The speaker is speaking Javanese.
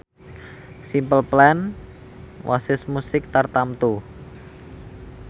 Simple Plan wasis musik tartamtu